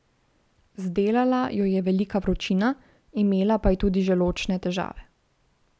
Zdelala jo je velika vročina, imela pa je tudi želodčne težave.